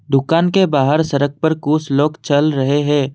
दुकान के बाहर सरक पर कुछ लोग चल रहे हैं।